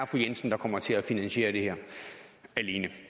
fru jensen der kommer til at finansiere det her alene